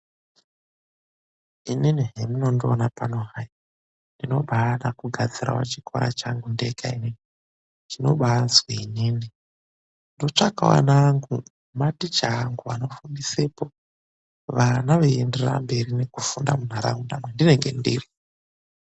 ININI HEMUNONDIONA PANO HAI, NDINOBADA KUGADZIRAWO CHIKORA CHANGU NDEGA ININI, CHINOBAAZI ININI.NDOTSVAKAWO ANA ANGU NEMATICHA ANGU ANOFUNDISAPO VANA VEIENDERERA KUMBERI NEKUFUNDA MUNHARAUNDA KWENDINENGE NDIRI.